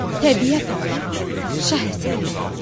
"Təbiət Allahın şah əsəridir."